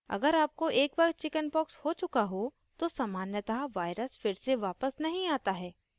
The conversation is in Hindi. अगर आपको एक बार chickenpox हो चुका हो तो सामान्यतः virus फिर से वापस नहीं आता है